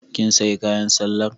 Kin sayi kayan sallar?